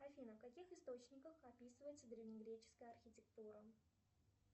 афина в каких источниках описывается древнегреческая архитектура